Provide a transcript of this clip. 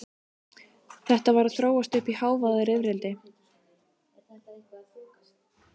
Þetta var að þróast uppí hávaðarifrildi.